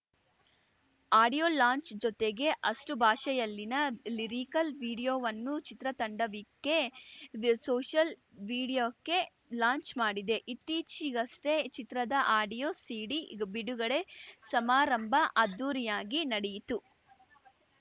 audio launch ಜೊತೆಗೆ ಅಷ್ಟುಭಾಷೆಯಲ್ಲಿನ lyrical ವಿಡಿಯೋವನ್ನು ಚಿತ್ರತಂಡವೀಕೆ ಸೋಷಲ್‌ ವೀಡಿಯೋಕೆ ಲಾಂಚ್‌ ಮಾಡಿದೆ ಇತ್ತೀಚೆಗಷ್ಟೇ ಚಿತ್ರದ ಆಡಿಯೋ ಸೀಡಿ ಬಿಡುಗಡೆ ಸಮಾರಂಭ ಅದ್ಧೂರಿಯಾಗಿ ನಡೆಯಿತು